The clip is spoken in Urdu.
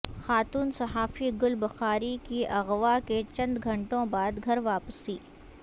خاتون صحافی گل بخاری کی اغوا کے چند گھنٹوں بعد گھر واپسی